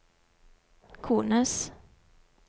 kones